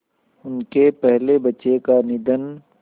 उनके पहले बच्चे का निधन